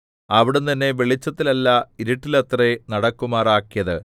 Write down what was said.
അവിടുന്ന് എന്നെ വെളിച്ചത്തിലല്ല ഇരുട്ടിലത്രേ നടക്കുമാറാക്കിയത്